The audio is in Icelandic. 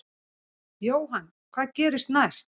Jóhann: Hvað gerist næst?